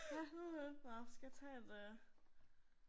Ja. Nåh, skal vi tage et øh